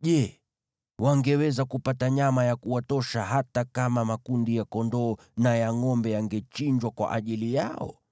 Je, wangeweza kupata nyama ya kuwatosha hata kama makundi ya kondoo na ya ngʼombe yangechinjwa kwa ajili yao?